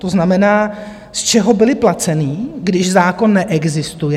To znamená, z čeho byly placeny, když zákon neexistuje?